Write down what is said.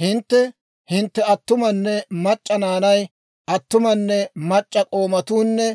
Hintte, hintte attumanne mac'c'a naanay, attumanne mac'c'a k'oomatuunne